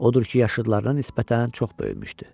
Odur ki, yaşıdlarına nisbətən çox böyümüşdü.